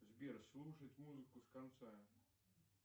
сбер слушать музыку с конца